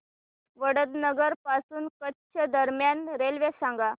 वडनगर पासून कच्छ दरम्यान रेल्वे सांगा